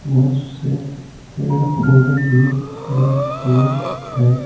बहुत से पेड़ पौधे भी खड़े हुए हैं।